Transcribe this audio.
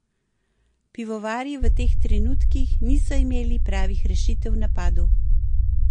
Pivovarji v teh trenutkih niso imeli pravih rešitev v napadu.